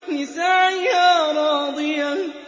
لِّسَعْيِهَا رَاضِيَةٌ